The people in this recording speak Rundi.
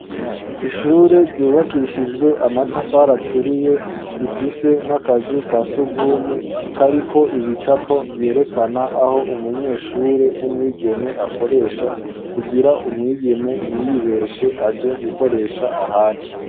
Ishure ryubakishijwe amatafari aturiye rifise n'akazu ka sugumwe kariko ibicapo vyerekana aho umunyeshure w'umwigeme akoresha kugira umwigeme ntiyibeshe aje gukoresha ahandi.